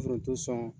Foronto sɔn